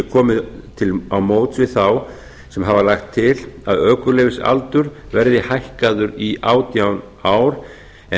komið til móts við þá sem hafa lagt til að ökuleyfisaldur verði hækkaður í átján ár en